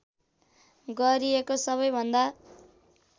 गरिएको सबैभन्दा